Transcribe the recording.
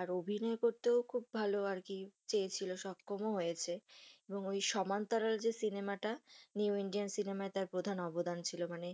আর অভিনয় করতো খুব ভালো আর কি, চেয়েছিল আর সক্ষম ও হয়েছে এবং সমান্তরাল যে সিনেমা টা, new indian সিনেমায় তার প্রধান অবদান ছিল মানে,